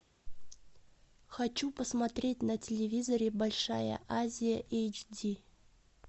хочу посмотреть на телевизоре большая азия эйч ди